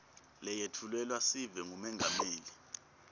leyetfulelwa sive ngumengameli